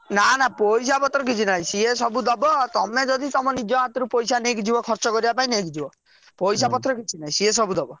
ନା ନା ପଇସା ପତର କିଛି ନାହି ସେ ସବୁ ଦବ ତମେ ଯଦି ତମ ନିଜ ହାତରେ ପଇସା ନେଇକି ଯିବ ଖର୍ଚ କରିବା ପାଇଁ ତାହେଲେ ନେଇକି ଯିବ ପଇସା ପତର କିଛି ନାହି ସେ ସବୁ ଦବ।